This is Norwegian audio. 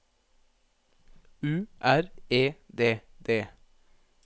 U R E D D